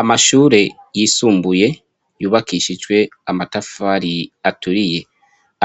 Amashure yisumbuye yubakishijwe amatafari aturiye